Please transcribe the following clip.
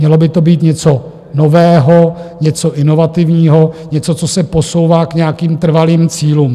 Mělo by to být něco nového, něco inovativního, něco, co se posouvá k nějakým trvalým cílům.